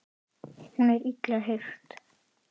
Hún er illa hirt.